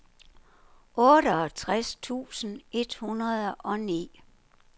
otteogtres tusind et hundrede og ni